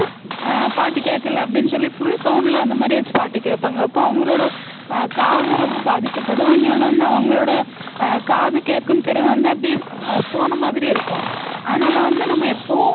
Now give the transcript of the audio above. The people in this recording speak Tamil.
அஹ் பாட்டு கேட்கலை அப்படின்னு சொல்லி full sound ல அந்த மாதிரி வச்சு பாட்டு கேட்பாங்க அப்ப அவங்களோட காதும் ரொம்ப பாதிக்கப்படும் இன்யொன்னு வந்து அவங்களோட அஹ் காது கேக்கும் திறன் வந்து அப்படியே அஹ் போன மாதிரி இருக்கும் அதனால வந்து நம்ம எப்பவும்